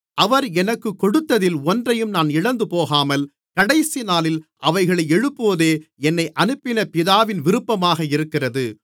அவர் எனக்குக் கொடுத்ததில் ஒன்றையும் நான் இழந்துபோகாமல் கடைசிநாளில் அவைகளை எழுப்புவதே என்னை அனுப்பின பிதாவின் விருப்பமாக இருக்கிறது